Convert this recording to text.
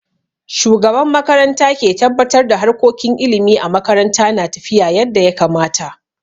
Shugaban makaranta ke tabbatar da harkokin ilimi a makaranta na tafiya yadda ya kamata.